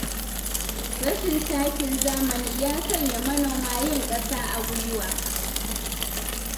Rashin takin zamani ya sanya manoma yin ƙasa a gwiwa.